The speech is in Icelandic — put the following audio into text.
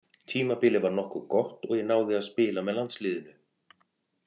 Tímabilið var nokkuð gott og ég náði að spila með landsliðinu.